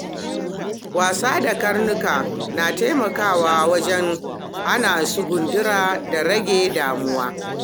Wasa da karnuka na taimakawa wajen hana su gundura da rage damuwa.